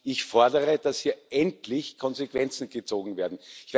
Ich fordere, dass hier endlich Konsequenzen gezogen werden.